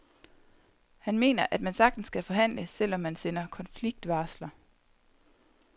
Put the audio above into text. Han mener, at man sagtens kan forhandle, selv om man sender konfliktvarsler.